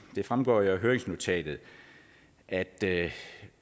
det fremgår jo af høringsnotatet at det